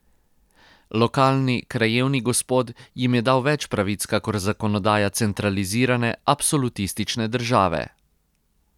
Lokalni, krajevni gospod jim je dal več pravic kakor zakonodaja centralizirane, absolutistične države.